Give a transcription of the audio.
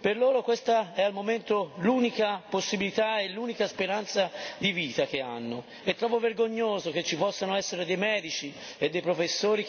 per loro questa è al momento l'unica possibilità e l'unica speranza di vita che hanno. Trovo vergognoso che ci possano essere dei medici e dei professori che bocciano a priori questo metodo perché non è basato su dimostrazioni scientifiche.